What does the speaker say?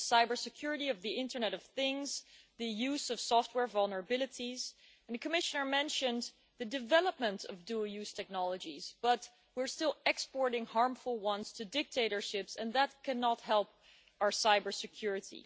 The cybersecurity of the internet of things, the use of software vulnerabilities, and the Commissioner mentioned the development of dual use technologies, but we are still exporting harmful ones to dictatorships and that cannot help our cybersecurity.